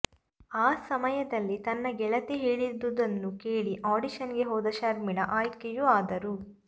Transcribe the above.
ಆ ಸಮಯದಲ್ಲಿ ತನ್ನ ಗೆಳತಿ ಹೇಳಿದುದನ್ನು ಕೇಳಿ ಆಡಿಶನ್ ಗೆ ಹೋದ ಶರ್ಮಿಳಾ ಆಯ್ಕೆಯೂ ಆದರು